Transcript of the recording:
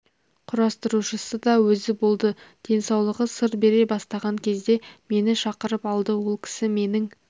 құрастырушысы да өзі болды денсаулығы сыр бере бастаған кезде мені шақырып алды ол кісі менің